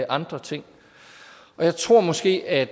andre ting jeg tror måske at